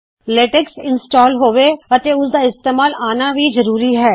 LaTeX install ਹੋਵੇ ਅਤੇ ਉਸ ਦਾ ਇਸਤੇਮਾਲ ਆਉਣਾ ਭੀ ਜ਼ਰੂਰੀ ਹੈ